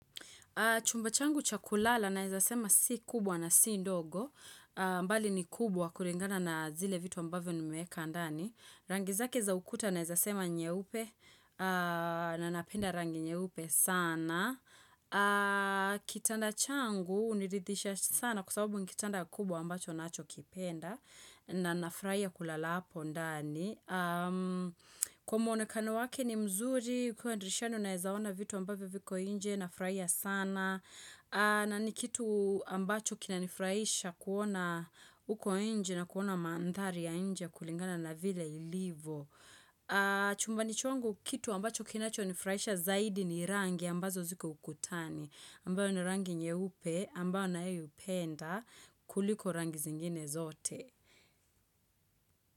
Chumba changu chakulala naeza sema si kubwa na si ndogo. Mbali ni kubwa kulingana na zile vitu ambavyo nimeweka ndani. Rangi zake za ukuta naeza sema nyeupe. Na napenda rangi nyeupe sana. Kitanda changu hunirithisha sana kwasababu ni kitanda kubwa ambacho nacho kipenda. Na nafurahia kulala hapo ndani. Kwa mwonekano wake ni mzuri. Ukiwa drishani unaeza ona vitu ambavyo viko nje na furahi sana. Na ni kitu ambacho kinanifraisha kuona uko nje na kuona mandhari ya inje kulingana na vile ilivo. Chumba changu kitu ambacho kinacho nifurahisha zaidi ni rangi ambazo ziko ukutani. Ambayo ni rangi nyeupe ambayo naipenda kuliko rangi zingine zote.